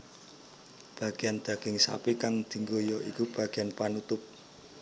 Bageyan daging sapi kang dianggo ya iku bageyan panutup